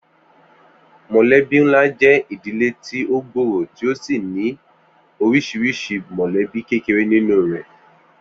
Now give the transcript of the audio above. Mò̩lé̩bí ńlá jé̩ ìdílé ti ó gbòòrò tí ó sì ní orís̩iris̩I mò̩lé̩bí kéreké nínú rè̩